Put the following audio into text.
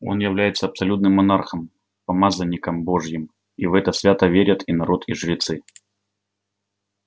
он является абсолютным монархом помазанником божьим и в это свято верят и народ и жрецы